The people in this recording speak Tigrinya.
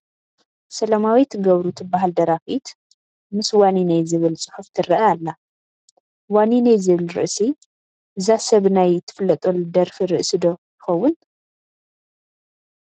ሰላማዊት ገብሩ ትበሃል ደራፊት ምስ ዋኒነይ ዝብል ፅሑፍ ትርአ ኣላ፡፡ ዋኒነይ ዝብል ርእሲ እዛ ሰብ ናይ ትፍለጠሉ ደርፊ ርእሲ ዶ ይኸውን?